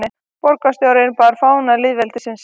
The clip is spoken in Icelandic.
Borgarstjórinn bar fána lýðveldisins